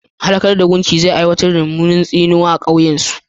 Halakar da gumki zai haifar da mummunar tsinuwa a kan ƙauyen su.